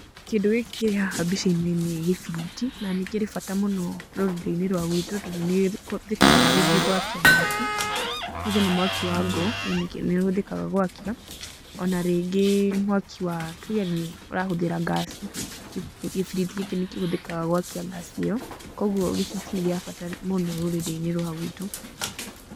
Kĩndũ gĩkĩ kĩrĩ haha mbica-inĩ nĩ gĩbiriti, na nĩkĩrĩ bata mũno rũrurĩ-inĩ rwa gwitũ tondũ nĩkĩhũthĩkaga rĩngĩ gwakia mwaki, tuge nĩ mwaki wa ngũ nĩhũthĩkaga gwakia, ona rĩngĩ mwaki wa, tuge urahũthĩra ngaci, gĩbiriti gĩkĩ nĩkĩhũthĩkaga gwakia ngaci ĩyo, koguo gĩbiriti nĩ gĩa bata mũno rũrĩrĩ-inĩ rwa gwitũ.